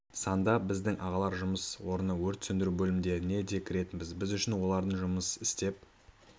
санда біздің ағалар жұмыс орыны өрт сөндіру бөлімдеріне де кіретінбіз біз үшін олардың жұмыс істеп